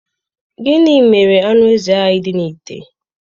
Gịnị mere anụ ezi ahụ dị n'ime ite?